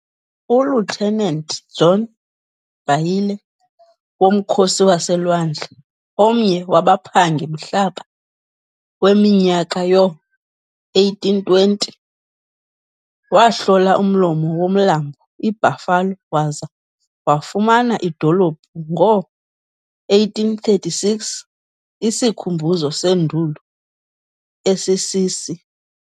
uLieutenant John Bailie womkhosi waselwandle, omnye wabaphangi-mhlaba weminyaka yoo-1820, wahlola umlomo womlambo iBuffalo waza wafumana idolophu ngo-1836, isikhumbuzo seNduli esisisi